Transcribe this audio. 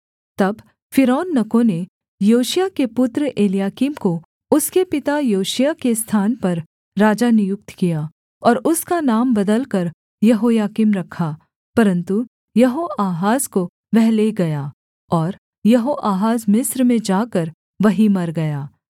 तब फ़िरौननको ने योशिय्याह के पुत्र एलयाकीम को उसके पिता योशिय्याह के स्थान पर राजा नियुक्त किया और उसका नाम बदलकर यहोयाकीम रखा परन्तु यहोआहाज को वह ले गया और यहोआहाज मिस्र में जाकर वहीं मर गया